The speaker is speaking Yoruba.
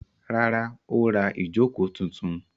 Rárá, ó ra ìjókòó tuntun.